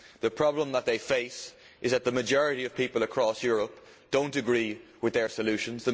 The problem that they face is that the majority of people across Europe do not agree with their solutions.